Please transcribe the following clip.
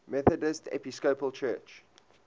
methodist episcopal church